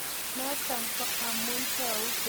Notok ko amu tau konetikei kong'alal lagok eng' kaa.